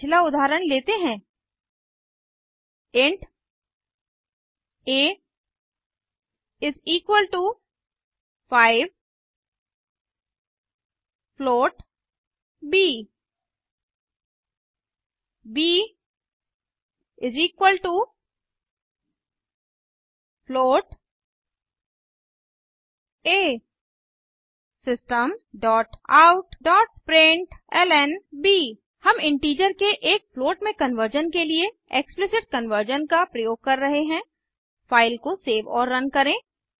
पिछला उदाहरण लेते हैं int a 5 float b b a systemoutप्रिंटलन हम इंटीजर के एक फ्लोट में कन्वर्जन के लिए एक्सप्लिसिट कन्वर्जन का प्रयोग कर रहे हैं फ़ाइल को सेव और रन करें